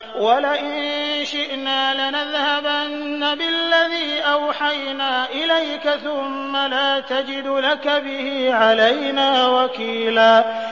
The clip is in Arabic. وَلَئِن شِئْنَا لَنَذْهَبَنَّ بِالَّذِي أَوْحَيْنَا إِلَيْكَ ثُمَّ لَا تَجِدُ لَكَ بِهِ عَلَيْنَا وَكِيلًا